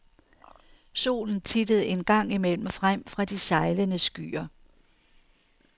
Solen tittede en gang imellem frem fra de sejlende skyer.